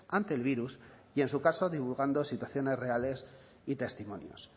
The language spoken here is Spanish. ante el virus y en su caso divulgando situaciones reales y testimonios